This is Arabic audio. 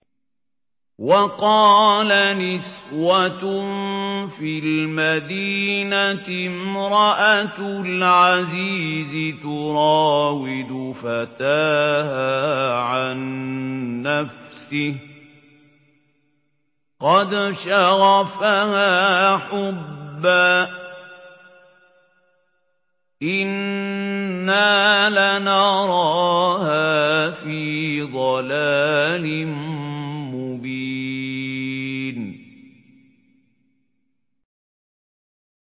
۞ وَقَالَ نِسْوَةٌ فِي الْمَدِينَةِ امْرَأَتُ الْعَزِيزِ تُرَاوِدُ فَتَاهَا عَن نَّفْسِهِ ۖ قَدْ شَغَفَهَا حُبًّا ۖ إِنَّا لَنَرَاهَا فِي ضَلَالٍ مُّبِينٍ